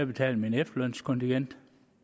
betalt mit efterlønskontingent